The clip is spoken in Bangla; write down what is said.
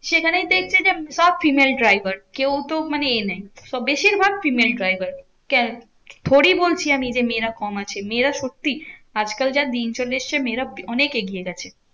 সেখানেই দেখছি যে সব female driver. কেউ তো মানে এ নেই তো বেশিরভাগ female driver. থোড়ি বলছি আমি যে মেয়েরা কম আছে, মেয়েরা সত্যি আজকাল যা দিন চলে এসেছে মেয়েরা অনেক এগিয়ে গেছে।